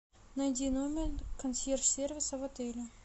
найди номер консьерж сервиса в отеле